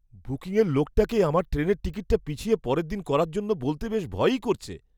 বুকিংয়ের লোকটাকে আমার ট্রেনের টিকিটটা পিছিয়ে পরের দিন করার জন্য বলতে বেশ ভয়ই করছে!